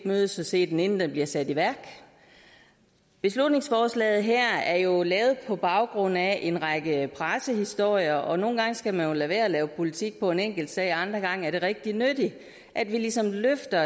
mødes og se den inden den bliver sat i værk beslutningsforslaget her er jo lavet på baggrund af en række pressehistorier nogle gange skal man jo lade være med at lave politik på en enkeltsag mens det andre gange er rigtig nyttigt at vi ligesom løfter